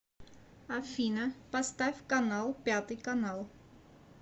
афина поставь канал пятый канал